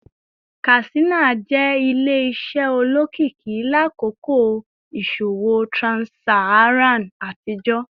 Katsina jẹ ile-iṣẹ olokiki lakoko iṣowo trans-Saharan atijọ